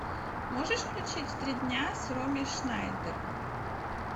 можешь включить три дня с роми шнайдер